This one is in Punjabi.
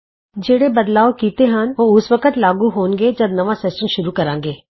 ਜਿਹੜੇ ਬਦਲਾਓ ਅਸੀਂ ਕੀਤੇ ਹਨ ਉਹ ਉਸ ਵਕਤ ਹੀ ਲਾਗੂ ਹੋਣਗੇ ਜਦ ਅਸੀਂ ਦੁਬਾਰਾ ਨਵਾੰ ਸੈਸ਼ਨ ਸ਼ੁਰੂ ਕਰਾਂਗੇ